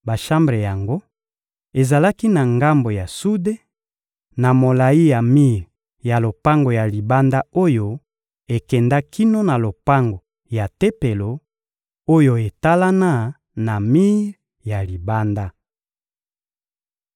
Bashambre yango ezalaki na ngambo ya sude, na molayi ya mir ya lopango ya libanda oyo ekenda kino na lopango ya Tempelo oyo etalana na mir ya libanda.